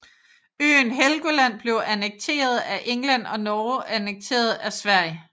Øen Helgoland blev annekteret af England og Norge annekteret af Sverige